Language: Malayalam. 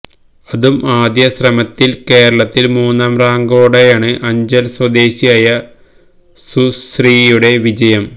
അതും ആദ്യ ശ്രമത്തിൽ കേരളത്തിൽ മൂന്നാം റാങ്കോടെയാണ് അഞ്ചൽ സ്വദേശിയായ സുശ്രീയുടെ വിജയം